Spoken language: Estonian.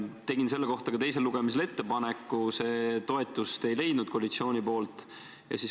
Tegin selle kohta ka teisel lugemisel ettepaneku, see koalitsiooni toetust ei leidnud.